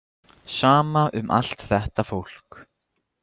Sama um allt þetta fólk.